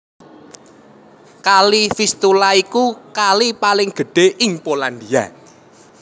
Kali Vistula iku kali paling gedhé ing Polandia